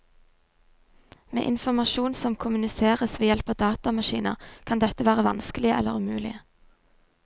Med informasjon som kommuniseres ved hjelp av datamaskiner kan dette være vanskelig eller umulig.